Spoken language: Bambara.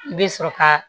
I bɛ sɔrɔ ka